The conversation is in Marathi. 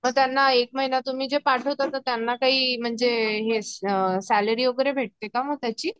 त्यांना एक महिना तुम्ही जे पाठवता तर त्यांना काही म्हणजे हे अ सैलरी वैगेरे भेटते का मग त्याची